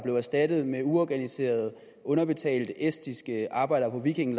blev erstattet med uorganiserede underbetalte estiske arbejdere på viking